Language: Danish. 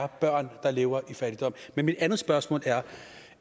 er børn der lever i fattigdom mit andet spørgsmål